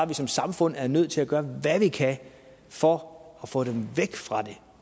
vi som samfund er nødt til at gøre hvad vi kan for at få dem væk fra det